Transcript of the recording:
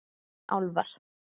Álfar